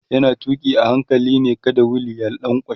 yana tuki a hankali ne kada wheel ya lankwashe